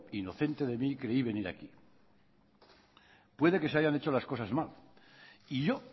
inocente de mí creí venir aquí puede que se hayan hecho las cosas mal y yo